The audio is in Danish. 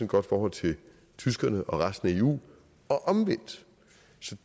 godt forhold til tyskerne og resten af eu og omvendt